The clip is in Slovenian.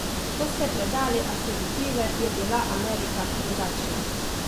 Ko ste predali akreditive je bila Amerika drugačna?